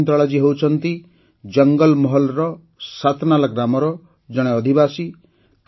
ଶକୁନ୍ତଳା ଜୀ ହେଉଛନ୍ତି ଜଙ୍ଗଲ ମହଲ୍ର ଶାତନାଲା ଗ୍ରାମର ଜଣେ ଅଧିବାସୀ